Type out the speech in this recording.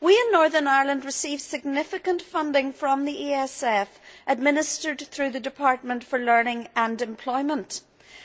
We in Northern Ireland receive significant funding from the ESF administered through the Department for Learning and Employment,